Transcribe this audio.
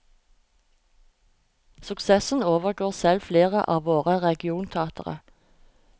Suksessen overgår selv flere av våre regionteatre.